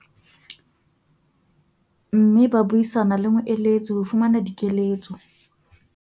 mme ba buisana le moeletsi ho fumana dikeletso.